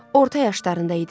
Orta yaşlarında idi.